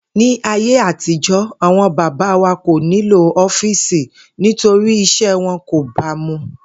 Ní ayé àtijo̩, àwo̩n bàbá wa kò nílò ó̩fíìsì nítorí is̩é̩ wo̩n kò ba mu